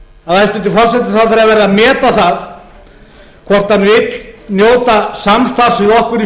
núna að hæstvirtur forsætisráðherra verði að meta það hvort hann vill njóta samstarfs við okkur í stjórnarandstöðunni að